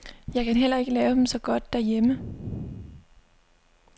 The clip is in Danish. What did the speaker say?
Jeg kan heller ikke lave dem så godt derhjemme.